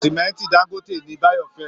Sìmẹ́ǹtì dáńgóte ni bayo fẹ́